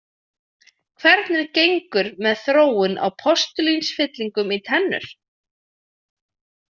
Hvernig gengur með þróun á postulínsfyllingum í tennur?